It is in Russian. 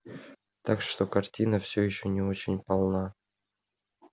так что картина все ещё не очень полна